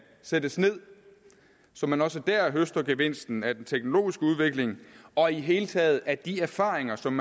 sættes ned så man også der høster gevinsten af den teknologiske udvikling og i hele taget af de erfaringer som